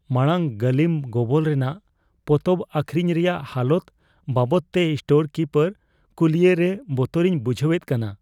ᱢᱟᱲᱟᱝ ᱜᱟᱹᱞᱤᱢ ᱜᱚᱵᱚᱞ ᱨᱮᱱᱟᱜ ᱯᱚᱛᱚᱵ ᱟᱹᱠᱷᱨᱤᱧ ᱨᱮᱭᱟᱜ ᱦᱟᱞᱚᱛ ᱵᱟᱵᱚᱫᱛᱮ ᱥᱴᱳᱨ ᱠᱤᱯᱟᱨ ᱠᱩᱞᱤᱭᱮ ᱨᱮ ᱵᱚᱛᱚᱨᱤᱧ ᱵᱩᱡᱷᱟᱹᱣᱮᱫ ᱠᱟᱱᱟ ᱾